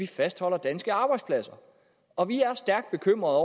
fastholde danske arbejdspladser og vi er stærkt bekymrede